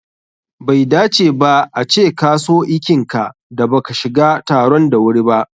Bai dace ba a ce ka so ikinka da baka shiga taron da wuri ba.